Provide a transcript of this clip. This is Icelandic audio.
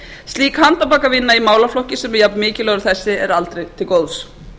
slík handarbakavinna í málaflokki sem er jafnmikilvægur og þessi er aldrei til góðs